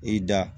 I da